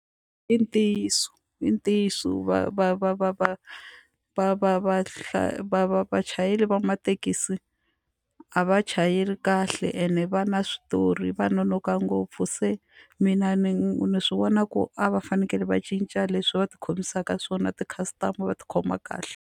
I ntiyiso i ntiyiso va va va va va va va va va vachayeri va mathekisi a va chayeli kahle ene va na switori va nonoka ngopfu se mina ni swi vona ku a va fanekele va cinca leswi va tikhomisaka swona ti-customer va tikhoma kahle.